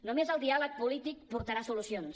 només el diàleg polític portarà solucions